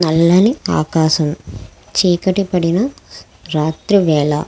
నల్లని ఆకాశం చీకటి పడిన రాత్రి వేళ.